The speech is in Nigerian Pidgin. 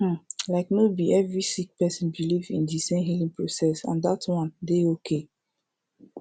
um like no bi every sik person biliv in di sem healing process and dat one dey okay